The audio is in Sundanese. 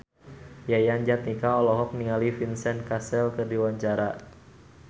Yayan Jatnika olohok ningali Vincent Cassel keur diwawancara